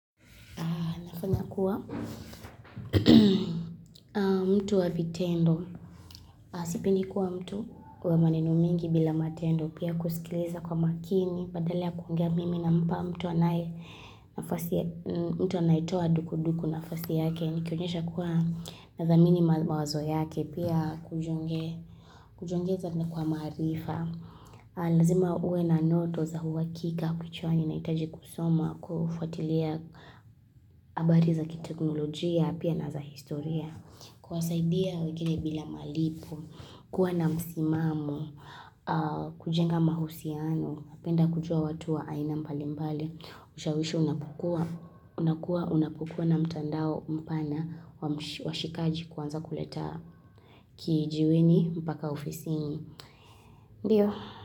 Nafanya kuwa mtu wa vitendo. Nasipendi nkuwa mtu kwa maneno mengi bila matendo. Pia kusikiliza kwa makini. Badala ya kuongea mimi na mpa mtu anaye nafasi. Mtu anaitoa duku duku nafasi yake. Nikionyesha kuwa nathamini mawazo yake. Pia kujiongeza na kwa maarifa. Lazima uwe na ndoto za huakika kichwani nahitaji kusoma. Kufuatilia habari za kiteknolojia pia na za historia. Kuwasaidia wengine bila malipo, kuwa na msimamo, kujenga mahusiano, penda kujua watu wa aina mbalimbali, ushawishi unapokua na mtandao mpana wa shikaji kuanza kuleta kijiweni mpaka ofisini.